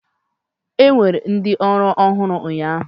Enwere ndị ọrụ ọhụrụ ụnyaahụ?